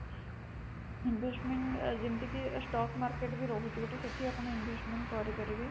investment ଯେମିତି କି stock market ବି ରହୁଛି ଗୋଟେ ଯୋଉଠି ସେଠି ଆପଣ investment କରେଇ ପାରିବେ